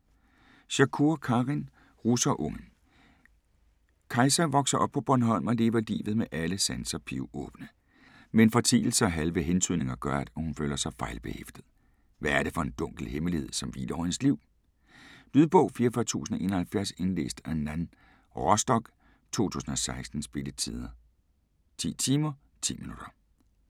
Shakoor, Karin: Russerunge Kajsa vokser op på Bornholm og lever livet med alle sanser pivåbne. Men fortielser og halve hentydninger gør, at hun føler sig fejlbehæftet. Hvad er det for en dunkel hemmelighed, som hviler over hendes liv? Lydbog 44071 Indlæst af Nan Rostock, 2016. Spilletid: 10 timer, 10 minutter.